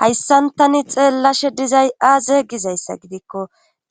hayssantani xeellashe dizay aazeygizayssa gidikko